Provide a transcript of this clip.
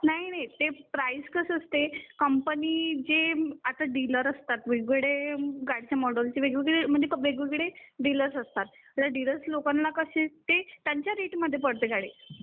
नाही नाही ते प्राइस कसं असतं ते कंपनी जे आता ते डिलर असतात वेग वेगळे गाडीचे जे मॉडेल्स असतात म्हणजे वेग वेगळे डीलर्स असतात डीलर्स लोकांना कसे ते त्यांचा रेट मध्ये पडते गाडी